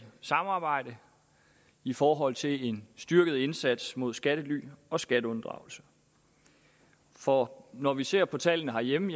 samarbejde i forhold til en styrket indsats mod skattely og skatteunddragelse for når vi ser på tallene herhjemme